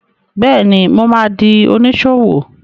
Bẹ́ẹ̀ni, mo ma di oníṣòwò